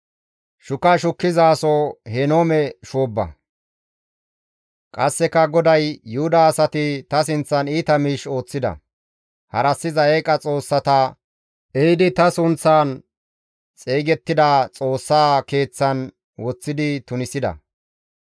Qasseka GODAY, «Yuhuda asati ta sinththan iita miish ooththida; harassiza eeqa xoossata ehidi ta sunththan xeygettida Xoossa Keeththaan woththidi tunisida.